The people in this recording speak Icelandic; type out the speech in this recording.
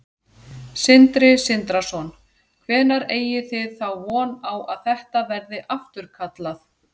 Sindri Sindrason: Hvenær eigið þið þá von á að þetta verði afturkallað?